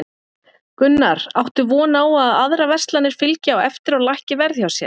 Gunnar: Áttu von á að aðrar verslanir fylgi á eftir og lækki verð hjá sér?